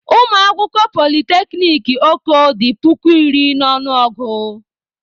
Ụmụ akwụkwọ polyteknic Oko dị puku iri n'ọnụ ọgụ.